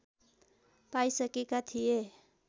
पाइसकेका थिए